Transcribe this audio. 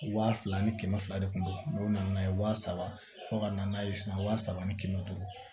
Wa fila ni kɛmɛ fila de kun don n'o nana n'a ye wa saba fo ka na n'a ye san wa saba ni kɛmɛ duuru